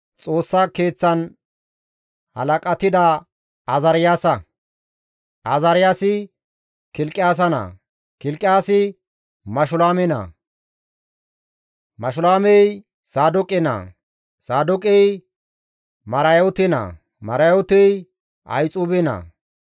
Xoossa Keeththan halaqatida Azaariyaasa; Azaariyaasi Kilqiyaasa naa; Kilqiyaasi Mashulaame naa; Mashulaamey Saadooqe naa; Saadooqey Marayoote naa; Marayootey Ahixuube naa.